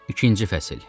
İkinci fəsil.